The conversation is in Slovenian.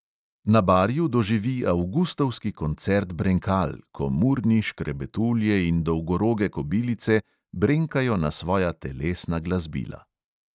Na barju doživi avgustovski koncert brenkal, ko murni, škrebetulje in dolgoroge kobilice brenkajo na svoja telesna glasbila.